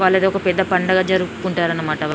వాళ్ళది పెద్ద పండగ జరుపుకుంటారు అనమాట.